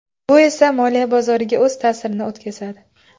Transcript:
Bu esa moliya bozoriga o‘z ta’sirini o‘tkazadi.